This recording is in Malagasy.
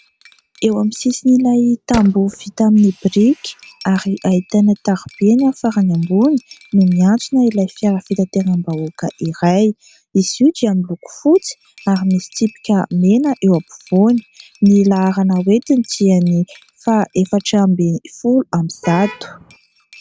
Eo amin'ny sisin' ilay tamboho vita amin'ny biriky, ary ahitana taroby eny amin'ny farany ambony, no miantsona ilay fiara fitateram-bahoaka iray. Izy io dia miloko fotsy, ary misy tsipika mena eo ampovoany. Ny laharana hoetiny dia faha efatra ambin'ny folo amby zato.